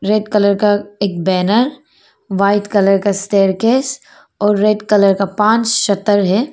Red colour का एक banner white colour का स्टेयारकेस और रेड कलर का पांच शटर है।